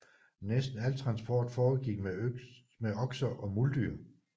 Næsten al transport foregik med okser og muldyr